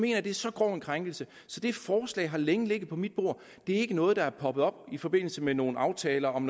jeg at det er så grov en krænkelse så det forslag har længe ligget på mit bord det er ikke noget der er poppet op i forbindelse med nogle aftaler om